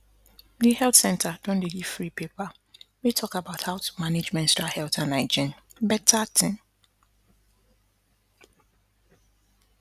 the health center don dey give free paper wey talk about how to manage menstrual health and hygienena better thing